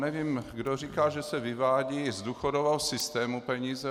Nevím, kdo říká, že se vyvádějí z důchodového systému peníze.